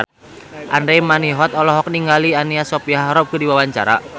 Andra Manihot olohok ningali Anna Sophia Robb keur diwawancara